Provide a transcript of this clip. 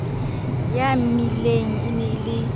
ya mmileng e ne e